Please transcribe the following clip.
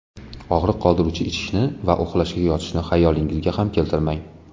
Og‘riq qoldiruvchi ichishni va uxlashga yotishni xayolingizga ham keltirmang.